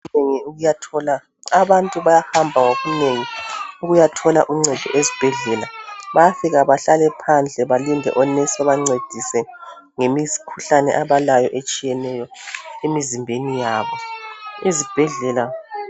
abantu bayahamba ngobunengi ukuyathola uncedo esibhedlela bayafika bahlale phandle balinde onesi babancedise ngemikhuhlane abalayo etshiyeneyo emizimbeni yabo, izibhedlela